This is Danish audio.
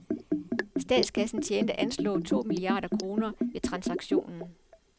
Statskassen tjente anslået to milliarder kroner ved transaktionen.